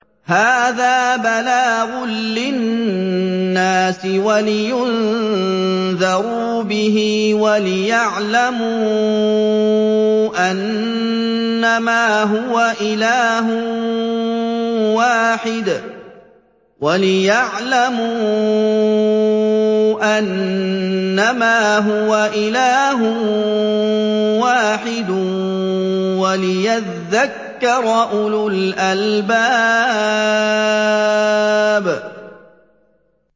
هَٰذَا بَلَاغٌ لِّلنَّاسِ وَلِيُنذَرُوا بِهِ وَلِيَعْلَمُوا أَنَّمَا هُوَ إِلَٰهٌ وَاحِدٌ وَلِيَذَّكَّرَ أُولُو الْأَلْبَابِ